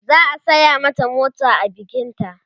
za'a saya mata mota da bikin ta